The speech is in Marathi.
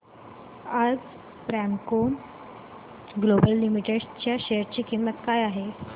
आज प्रेमको ग्लोबल लिमिटेड च्या शेअर ची किंमत काय आहे